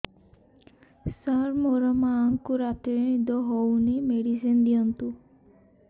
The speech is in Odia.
ସାର ମୋର ମାଆଙ୍କୁ ରାତିରେ ନିଦ ହଉନି ମେଡିସିନ ଦିଅନ୍ତୁ